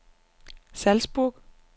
Salzburg